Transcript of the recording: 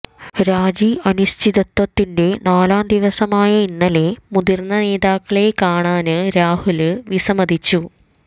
രാജി അനിശ്ചിതത്വത്തിന്റെ നാലാം ദിവസമായ ഇന്നലെ മുതിര്ന്ന നേതാക്കളെ കാണാന് രാഹുല് വിസമ്മതിച്ചു